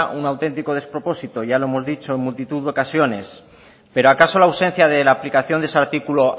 un auténtico despropósito ya lo hemos dicho en multitud de ocasiones pero acaso la ausencia de la aplicación de ese artículo